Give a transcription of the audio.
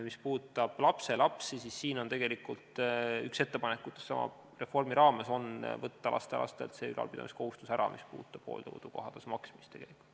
Mis puudutab lapselapsi, siis tegelikult on üks ettepanekutest sama reformi raames võtta lastelastelt ära see ülalpidamiskohustus, mis puudutab hooldekodu kohatasu maksmist.